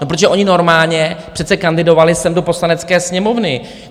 No protože oni normálně přece kandidovali sem do Poslanecké sněmovny.